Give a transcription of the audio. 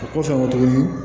O kɔfɛ tuguni